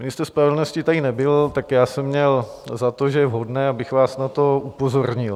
Ministr spravedlnosti tady nebyl, tak já jsem měl za to, že je vhodné, abych vás na to upozornil.